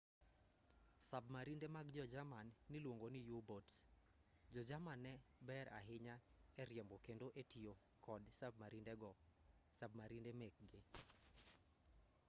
sabmarinde mag jo-jerman niluongo ni u-boats jo-jerman ne ber ahinya e riembo kendo e tiyo kod sabmarinde mekgi